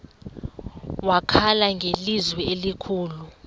wakhala ngelizwi elikhulu